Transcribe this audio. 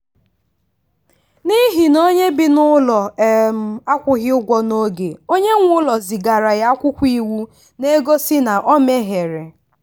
n'ihi na onye bi n'ụlọ um akwụghị ụgwọ n'oge onye nwe ụlọ zigara ya akwụkwọ iwu na-egosi na o mehiere.